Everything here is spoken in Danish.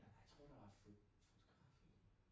Nej jeg tror det var fotografi